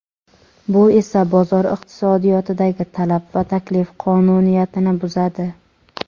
Bu esa bozor iqtisodiyotidagi talab va taklif qonuniyatini buzadi.